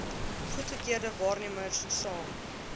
goedgekeurde waarnemers saam